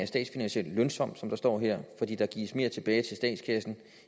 statsfinansielt lønsom som der står her fordi der gives mere tilbage til statskassen